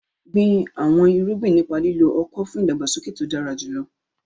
Gbin àwọn irúgbìn nípa lílo ọ̀kọ̀ fún ìdàgbàsókè tó dára jùlọ.